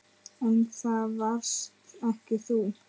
En það varst ekki þú.